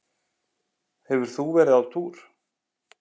Hefur þú verið á túr?